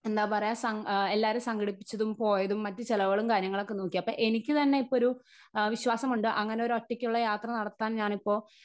Speaker 1 എന്താ പറയ സം എല്ലാരേം സങ്കടിപ്പിച്ചതും പോയതും മറ്റു ചെലവുകളും കാര്യങ്ങളൊക്കെ നോക്കി അപ്പൊ എനിക്കു തന്നെയിപ്പോ ഒരു അ വിശ്വാസമുണ്ട് അങ്ങനെ ഒരൊറ്റയ്ക്കുള്ള യാത്ര നടത്താൻ ഞാനിപ്പോ.